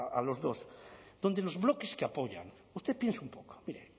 a los dos donde los bloques que apoyan usted piense un poco mire el